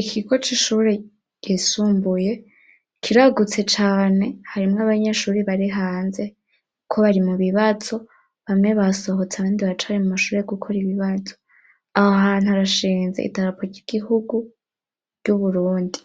Ikigo c'ishure ryisumbuye kiragutse cane, harimwo abanyeshure bari hanze, ariko bari mu bibazo, bamwe basohotse abandi baracari mu mashure gukora ibibazo, aho hantu harashinze idarapo ry'igihugu ry'u Burundi,